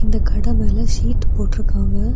இந்த கடை மேல சீட் போட்ருக்காங்க.